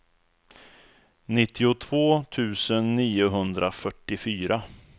nittiotvå tusen niohundrafyrtiofyra